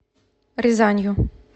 рязанью